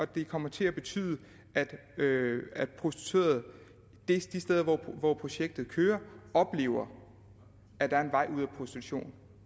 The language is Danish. det kommer til at betyde at prostituerede de steder hvor projektet kører oplever at der er en vej ud af prostitution